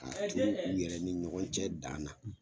Ka turu u yɛrɛ ni ɲɔgɔn cɛ dan na